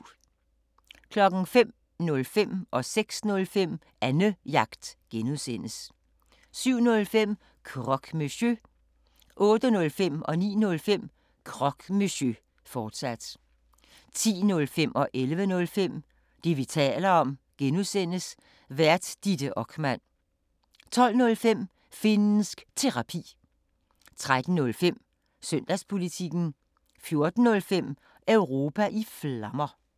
05:05: Annejagt (G) 06:05: Annejagt (G) 07:05: Croque Monsieur 08:05: Croque Monsieur, fortsat 09:05: Croque Monsieur, fortsat 10:05: Det, vi taler om (G) Vært: Ditte Okman 11:05: Det, vi taler om (G) Vært: Ditte Okman 12:05: Finnsk Terapi 13:05: Søndagspolitikken 14:05: Europa i Flammer